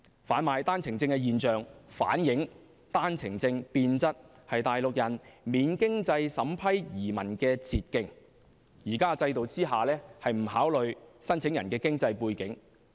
販賣單程證現象反映單程證變質為內地人免經濟審批移民的捷徑，現時制度不考慮申請人經濟背景。